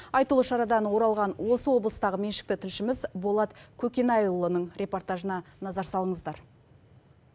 айтулы шарадан оралған осы облыстағы меншікті тілшіміз болат көкенайұлының репортажына назар салыңыздар